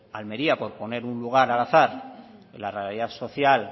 almería por poner un lugar al azar y la realidad social